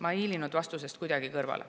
Ma ei hiilinud mitte kuidagi vastusest kõrvale.